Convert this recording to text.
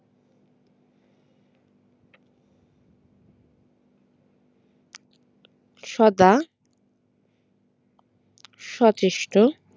সদা সচেষ্ট